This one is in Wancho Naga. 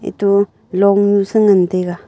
eto longnue sa ngan taiga.